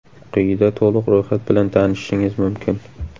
Quyida to‘liq ro‘yxat bilan tanishishingiz mumkin.